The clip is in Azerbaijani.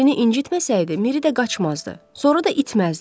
Mirini incitməsəydi, Miri də qaçmazdı, sonra da itməzdi.